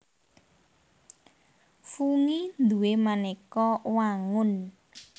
Fungi duwé manéka wangun